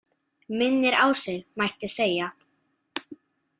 Minnir á sig, mætti segja.